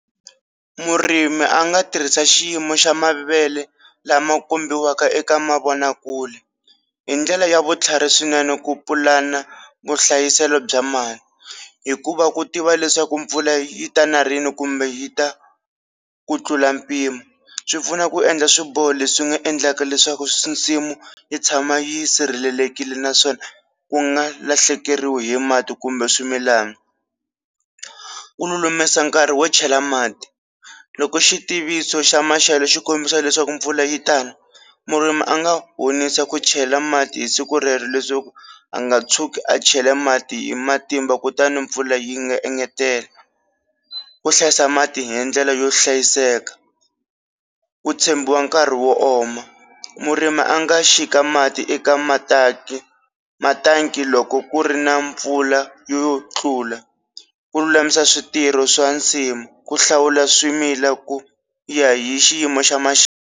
Murimi a nga tirhisa xiyimo xa mavele lama kombiwaka eka mavonakule hi ndlela ya vutlhari swinene ku pulana vuhlayiselo bya mali hikuva ku tiva leswaku mpfula yi ta na rini kumbe yi ta ku tlula mpimo, swi pfuna ku endla swiboho leswi nga endlaka leswaku nsimu yi tshama yi sirhelelekile naswona ku nga lahlekeriwi hi mati kumbe swimilana, ku lulamisa nkarhi wo chela mati loko xitiviso xa maxelo xi kombisa leswaku mpfula yi ta na murimi a nga honisa ku chela mati hi siku rero leswaku a nga tshuki a chela mati hi matimba kutani mpfula yi nga engetela, ku hlayisa mati hi ndlela yo hlayiseka ku tshembiwa nkarhi wo oma murimi a nga xika mati eka matanki, matanki loko ku ri na mpfula yo tlula ku lulamisa switirho swa nsimu ku hlawula swimila ku ya hi xiyimo xa maxelo.